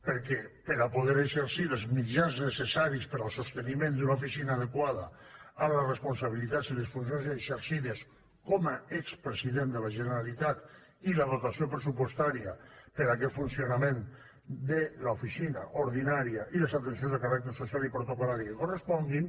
perquè per a poder exercir els mitjans necessaris per al sosteniment d’una oficina adequada a les responsabilitats i les funcions exercides com a expresident de la generalitat i la dotació pressupostària per aquest funcionament de l’oficina ordinària i les atencions de caràcter social i protocol·lari que corresponguin